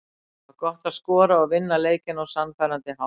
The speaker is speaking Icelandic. Það var gott að skora og vinna leikinn á sannfærandi hátt.